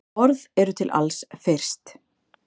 Orð eru til alls fyrst.